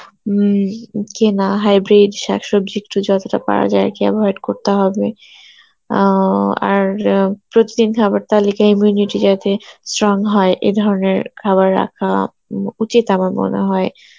উম কেনা hybrid শাকসবজি একটু যতটা পারা যায় একে avoid করতে হবে, অ্যাঁ আর অ্যাঁ প্রত্যেকদিন খাবার তালিকায় immunity যাতে strong হয় এ ধরনের খাবার রাখা উম উচিত আমার মনে হয়